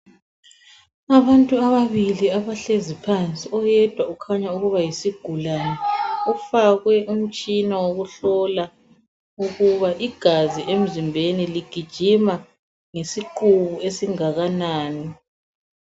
Abantu ababili abahlezi phansi oyedwa ukhanya ukuba yisigulane ufakwe umtshina wokuhlola ukuba igazi emzimbeni ligijima ngesiqubu esingakanani.